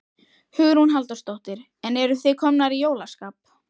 Hugrún Halldórsdóttir: En eruð þið komnar í jólaskap?